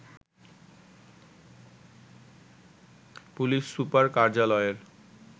police super কার্যালয়ের